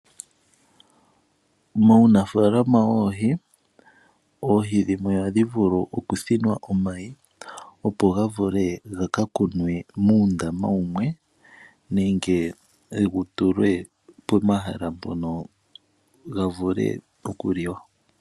Muunafaalaama woohi, oohi dhimwe ohadhi vulu okuthinwa omayi, opo ga vule ga ka kunwe muundama wumwe nenge ga tulwe pomahala mpono ga vule okuliwa.